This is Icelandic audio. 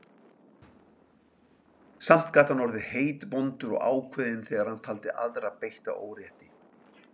Samt gat hann orðið heitvondur og ákveðinn þegar hann taldi aðra beitta órétti.